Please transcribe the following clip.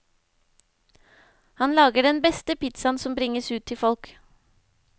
Han lager den beste pizzaen som bringes ut til folk.